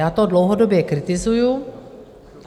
Já to dlouhodobě kritizuji.